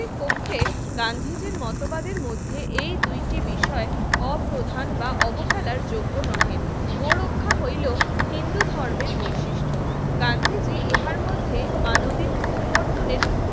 গান্ধীজীর মতবাদের মধ্যে এই দুইটি বিষয় অপ্রধান বা অবহেলার যোগ্য নহে গো রক্ষা হইল হিন্দু ধর্মের বৈশিষ্ট্য গান্ধীর যে ইহার মধ্যে আণবিক উদ্বর্তন এর